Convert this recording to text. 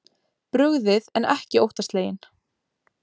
Brugðið en ekki óttasleginn